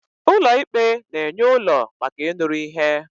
ụlọ ikpe na-enye ụlọ maka ịnụrụ ihe